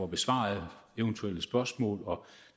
besvaret eventuelle spørgsmål og